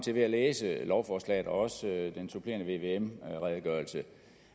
til ved at læse lovforslaget og også den supplerende vvm redegørelse